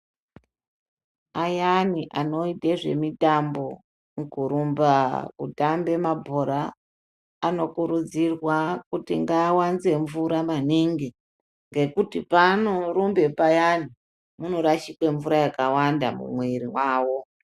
Ayani anoite zvemutambo kurumba kutamaba mabhora anokurudzirwa kuti ngaawanze mvura maningi ngekuti paa orumba payani anorasike mvura yakawanda mumuiri mwawo.